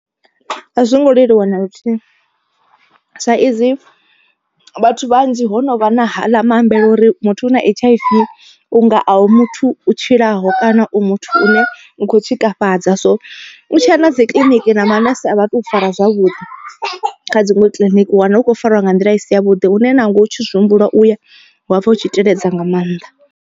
A zwo ngo leluwa na luthihi, sa izwi vhathu vhanzhi ho no vha na haḽa maambele uri muthu u na H_I_V u nga a u muthu u tshilaho kana u muthu une u kho tshikafhadza. So u tshi a na dzi kiḽiniki na manese a vha tou fara zwavhuḓi kha dziṅwe kiḽiniki u wana hu khou fariwa nga nḓila isi ya vhuḓi une nangwe u tshi zwi humbula uya wa pfha u tshi teledza nga maanḓa.